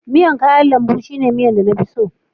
miyar kayan lambu shine miya na fi so